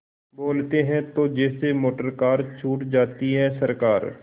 बोलते हैं तो जैसे मोटरकार छूट जाती है सरकार